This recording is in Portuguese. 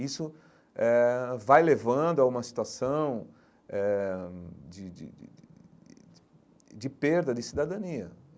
Isso eh vai levando a uma situação eh de de de de de perda de cidadania.